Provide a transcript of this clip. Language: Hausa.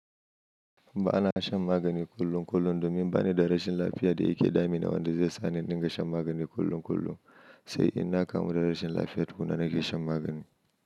Ba na shan magani kullum kullum domin bani da rashin lafiya da yake damina wanda zai sa ni in dinga shan magani kullum kullum, sai in na kamu da rashin lafiya tukunna nake shan magani.